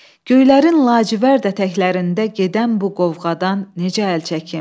Göylərin lacivərd ətəklərində gedən bu qovğadan necə əl çəkim?